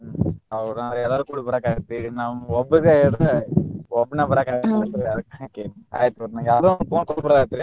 ಹೌದಾ ಅಂದ್ರ ಎಲ್ಲಾರು ಕೂಡಿ ಬರಾಕ ಆಗುತ್ರಿ ಈಗ ನಮ್ಗ ಒಬ್ಬಗ ಹೇಳಿರ ಒಬ್ನ ಬರಾಕ ಆಗಾಂಗಿಲ್ಲ ಅಲ್ರಿ ಅದಕ್ಕ ಕೇಳಿನಿ ಆಯ್ತ ತುಗೋರಿ ನಂಗ ಯಾವ್ದೊ ಒಂದ phone call ಬರಾತ್ರಿ.